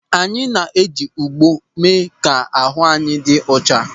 Anyị na-eji ogbo eme ka ahụ anyị dị ọcha.